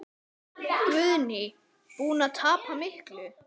Guðný: Búinn að tapa miklu?